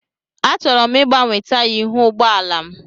Achọrọ m ịgbanwe taya ihu ụgbọ ala m.